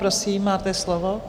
Prosím, máte slovo.